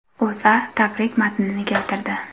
O‘zA tabrik matnini keltirdi .